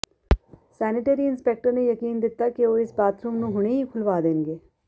sanitary inspector ਨੇ ਯਕੀਨ ਦਿੱਤਾ ਕਿ ਉਹ ਇਸ ਬਾਥਰੂਮ ਨੂੰ ਹੁਣੇ ਹੀ ਖੁਲਵਾ ਦੇਣਗੇ